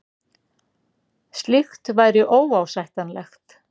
Slíkt væri óásættanlegt